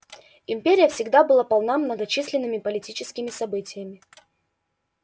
империя всегда была полна многочисленными политическими событиями